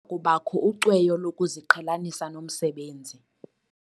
Kubakho ucweyo lokuziqhelanisa nomsebenzi.